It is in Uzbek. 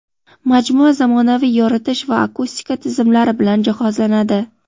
Majmua zamonaviy yoritish va akustika tizimlari bilan jihozlanadi.